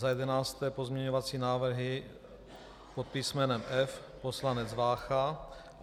Za jedenácté pozměňovací návrhy pod písmenem F, poslanec Vácha.